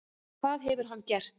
Hvað hefur hann gert?